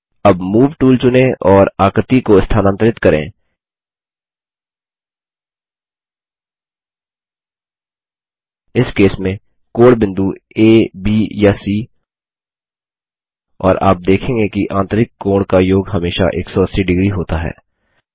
अब move tool चुनें और आकृति को स्थानांतरित करें इस केस में कोणबिंदु आ ब या सी और आप देखेंगे कि आंतरिक कोण का योग हमेशा 180 डिग्री होता है